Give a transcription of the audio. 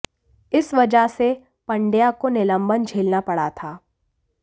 इस वजह से पंड्या को निलंबन झेलना पड़ा था